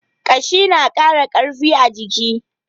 Ƙashi na ƙara ƙarfi a jiki.